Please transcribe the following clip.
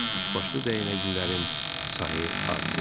Üç başlı dəyənəklilərin sayı artırdı.